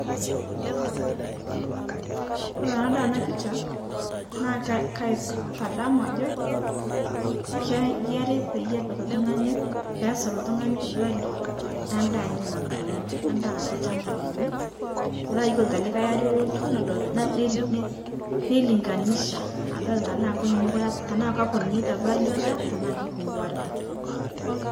Kore tanadol ana picha naa ka kaitadamu ajo kayiari pake epik ltung'ani, peesir ltung'ani [Cs[ value endaa enye natuuno, endaa natii lchamba lenye petaa yuolo te likae arii olotu nodol na ner ne nelinganisha adol taa konyunyukore apa tanaa kopununyeta value [C] endaa tanaa keipunguarita.